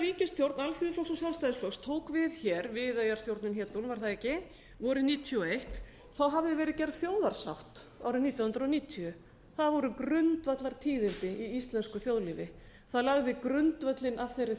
ríkisstjórn alþýðuflokks og sjálfstæðisflokks tók við hér viðeyjarstjórnin hét hún vorið nítján hundruð níutíu og einn hafði verið gerð þjóðarsátt árið nítján hundruð níutíu það voru grundvallartíðindi í íslensku þjóðlífi það lagði grundvöllinn að þeirri